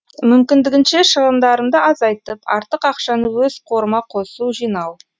мүмкіндігінше шығындарымды азайтып артық ақшаны өз қорыма қосу жинау